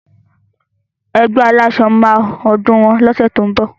Ẹgbẹ́ aláṣọ máa ọdún wọn lóṣẹ̀ tó ń bọ̀.